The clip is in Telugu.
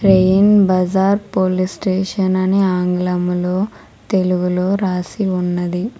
రెయిన్ బజార్ పోలీస్ స్టేషన్ అని ఆంగ్లములో తెలుగులో రాసి ఉన్నది.